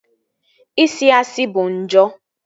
Isi asị bụ njọ